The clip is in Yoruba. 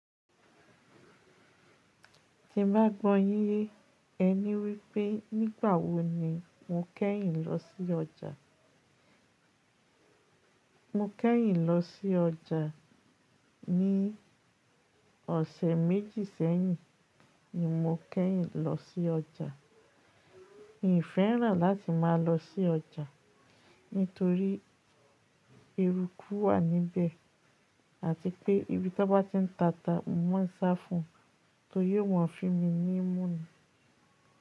Tí mo bá gbọ́ yín, ẹ ní wípé nígbà wo ni mo kẹ́yìn lọ sí ọjà. Mo kẹ́yìn lọ sí ọjà ní ọ̀sẹ̀ méjì sẹ́yìn ni mo kẹ́yìn lọ sí ọjà. N fẹ́ràn láti máa lọ sí ọjà nítorí eruku wà níbẹ̀ àti pé íbí tan bá ti ń tata, mo máa ń sá fún un torí wọn fi mí ní ìmùnì.